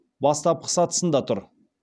бастапқы сатысында тұр